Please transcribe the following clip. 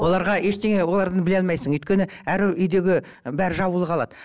оларға ештеңе олардан біле алмайсың өйткені әр үйдегі бәрі жабулы қалады